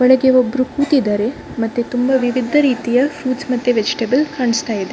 ಒಳಗೆ ಒಬ್ಬರು ಕೂತಿದ್ದಾರೆ ಮತ್ತೆ ತುಂಬಾ ವಿವಿಧ ರೀತಿಯ ಫ್ರುಇಟ್ಸ್ ಮತ್ತೆ ವೆಜಿಟಬಲ್ ಕಾಣಿಸ್ತಾ ಇದೆ.